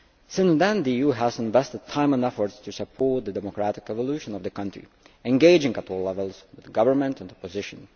Since then the EU has invested time and effort to support the democratic evolution of the country, engaging at all levels of government and opposition.